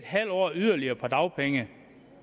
halv år yderligere på dagpenge